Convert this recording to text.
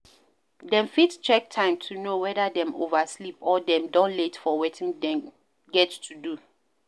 Dem fit check time to know weda dem oversleep or dem don late for wetin dem get to do